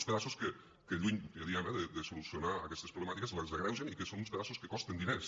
uns pedaços que lluny ja ho diem eh de solucionar aquestes problemàtiques les agreugen i que són uns pedaços que costen diners